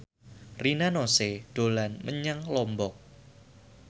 Rina Nose dolan menyang Lombok